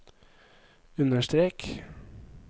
understrek